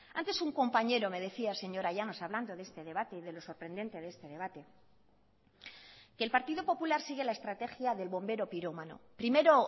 antes un compañero me decía señora llanos hablando de este debate de lo sorprendente de este debate que el partido popular sigue la estrategia del bombero pirómano primero